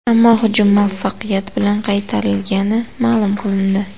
Ammo hujum muvaffaqiyat bilan qaytarilgani ma’lum qilindi.